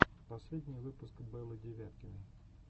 последний выпуск беллы девяткиной